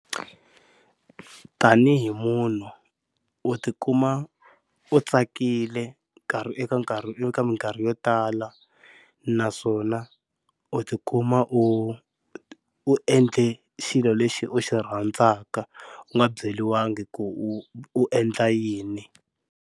Tanihi munhu u tikuma u tsakile nkarhi eka nkarhi i ka minkarhi yo tala, naswona u tikuma u u endle xilo lexi u xi rhandzaka u nga byeriwangi ku u endla yini.